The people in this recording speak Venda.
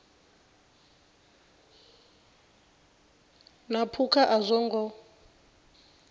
na phukha a zwo ngo